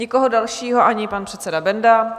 Nikoho dalšího - ani pan předseda Benda?